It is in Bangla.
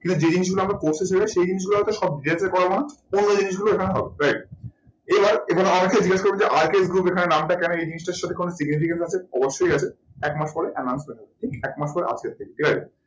কিন্তু যেই জিনিস গুলো আমরা করতে চলেছি সেই জিনিস গুলো সব details এ করাবোনা অন্য জিনিস গুলো এখানে হবে। right এবার এখানে অনেকেই জিজ্ঞেস করবেন যে RK group এখানে নামটা কোনো এই জিনিসটার সাথে কোনো significance আছে অবশ্যই আছে। একমাস পরে announce হয়ে যাবে একমাস পরে update পেয়ে যাবে ঠিক আছে।